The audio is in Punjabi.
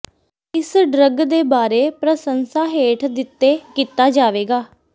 ਇਸ ਡਰੱਗ ਦੇ ਬਾਰੇ ਪ੍ਰਸੰਸਾ ਹੇਠ ਦਿੱਤੇ ਕੀਤਾ ਜਾਵੇਗਾ